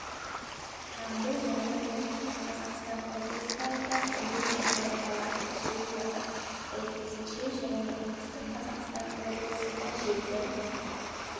жамбыл және оңтүстік қазақстан облыстарында күндіз жаңбыр жауады жел тұрады сәйкесінше және оңтүстік қазақстан облысында желдің